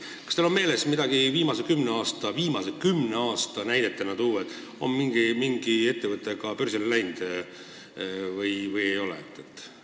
Kas teil on tuua mõni näide viimase kümne aasta kohta, on mingi ettevõte ka börsile läinud või ei ole?